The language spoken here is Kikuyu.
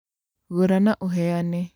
Gũra na uheane